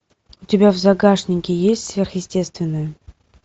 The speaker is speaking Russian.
у тебя в загашнике есть сверхъестественное